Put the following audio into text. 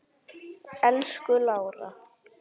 Elsku Lára.